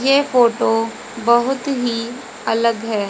ये फोटो बहुत ही अलग है।